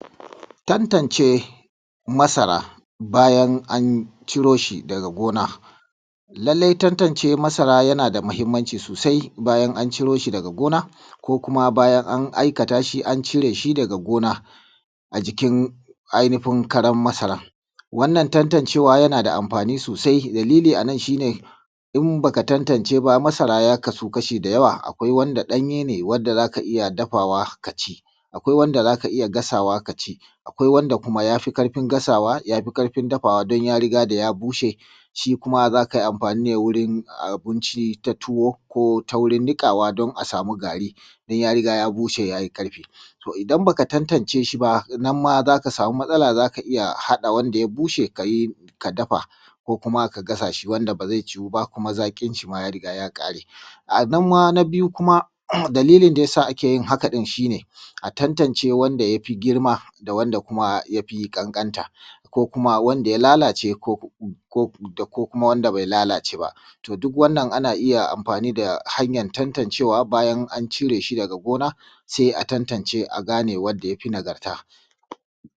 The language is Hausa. Tantance masara bayan an ciro shi daga gona. Lallai tantance masara yana da muhimmanci sosai bayan an ciro shi daga gona ko bayan an cire shi daga gona a jikin ainifin karan masarar. Wannan tantancewa yana da anfani sosai dalili a nan shi ne in ba ka tantace ba, masara ya kasu kashi da yawa akwai wanda ɗanye ne wanda za ka iya dafawa ka ci akwai wanda za ka iya gasawa ka ci akwai kuma wanda ya ƙarfin gasawa ya fi ƙarfin dafawa don ya riga da ya bushe. Shi kuma za ka yi anfani da shi ne wuri ta tuwo ko ta wurin niƙawa a yi gari don ya riga ya bushe.. To idan ba ka tantance shi za ka sama matsala za ka iya haɗa wanda ya bushe ka dafa ko kuma ka gasa ba zai ciwu ba kuma zaƙin shi ya riga ya ƙare a nan ma na biyu kuma, dalilin da yasa ake haka shi ne a tantance wanda ya fi girma da kuma ƙanƙanta, ko kuma wanda ya lalace da wanda bai lalace ba. Dukkan wannan ana iya anfani da hanyar tantancewa, in an cire shi daga gona sai a tantance a gane wanda ya fi nagarta.